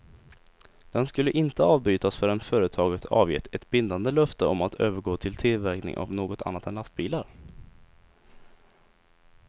Den skulle inte avbrytas förrän företaget avgett ett bindande löfte om att övergå till tillverkning av något annat än lastbilar.